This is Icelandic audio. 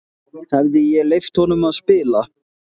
Hefði ég leyft honum að spila?